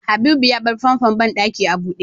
Habibu ya bar famfon banɗaki a buɗe